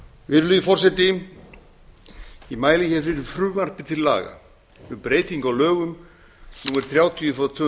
virðulegi forseti ég mæli hér fyrir frumvarpi til laga um breytingu á lögum númer þrjátíu tvö